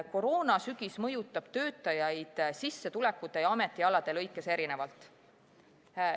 Koroonasügis mõjutab töötajaid sissetulekute ja ametialade lõikes erinevalt.